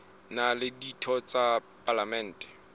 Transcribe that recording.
na le ditho tsa palamente